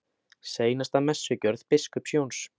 SEINASTA MESSUGJÖRÐ BISKUPS JÓNS